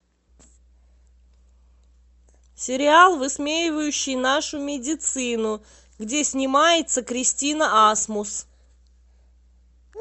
сериал высмеивающий нашу медицину где снимается кристина асмус